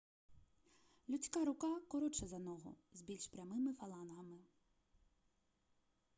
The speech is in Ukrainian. людська рука коротша за ногу з більш прямими фалангами